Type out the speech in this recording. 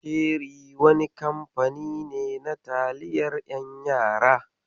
Ceri wani kamfani ne na taliyar 'yan yara.